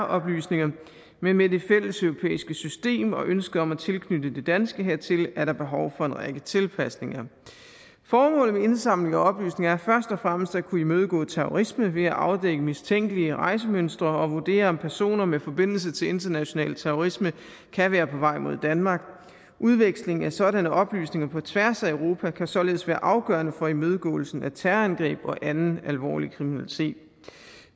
oplysninger men med det fælleseuropæiske system og ønsket om at tilknytte det danske hertil er der behov for en række tilpasninger formålet med indsamling af oplysninger er først og fremmest at kunne imødegå terrorisme ved at afdække mistænkelige rejsemønstre og vurdere om personer med forbindelse til international terrorisme kan være på vej mod danmark udveksling af sådanne oplysninger på tværs af europa kan således være afgørende for imødegåelsen af terrorangreb og anden alvorlig kriminalitet